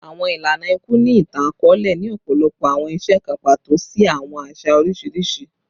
Awọn ilana iku ni itan-akọọlẹ ni ọpọlọpọ awọn iṣe kan pato si awọn aṣa oriṣiriṣi